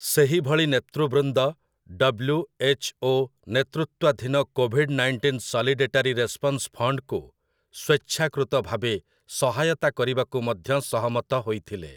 ସେହିଭଳି ନେତୃବୃନ୍ଦ ଡବ୍ଲୁ.ଏଚ୍‌.ଓ. ନେତୃତ୍ୱାଧୀନ କୋଭିଡ୍ ନାଇଣ୍ଟିନ୍ ସଲିଡେଟାରି ରେସ୍ପନ୍ସ ଫଣ୍ଡକୁ ସ୍ୱେଚ୍ଛାକୃତ ଭାବେ ସହାୟତା କରିବାକୁ ମଧ୍ୟ ସହମତ ହୋଇଥିଲେ ।